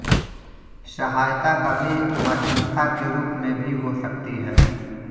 सहायता कभी मध्यस्थता के रूप में भी हो सकती है